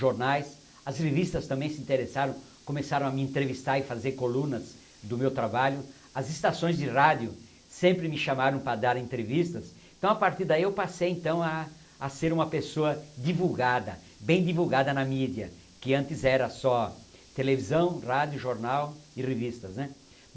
jornais, as revistas também se interessaram, começaram a me entrevistar e fazer colunas do meu trabalho, as estações de rádio sempre me chamaram para dar entrevistas, então a partir daí eu passei então a ser uma pessoa divulgada, bem divulgada na mídia, que antes era só televisão, rádio, jornal e revistas. né